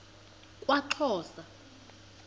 kwaxhosa